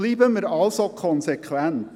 Bleiben wir also konsequent.